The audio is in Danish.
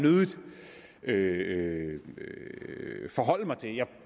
nødig forholde mig til jeg